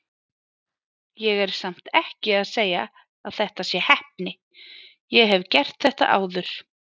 Ég er samt ekki að segja að þetta sé heppni, ég hef gert þetta áður.